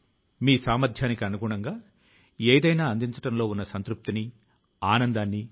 పుణె లో Bhandarkar oriental research institute పేరు తో ఒక కేంద్రం ఉంది